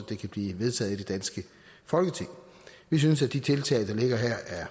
det kan blive vedtaget i det danske folketing vi synes at de tiltag der ligger her er